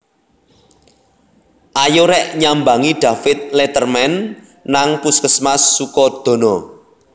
Ayo rek nyambangi David Letterman nang puskesmas Sukodono